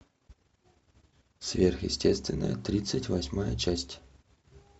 сверхъестественное тридцать восьмая часть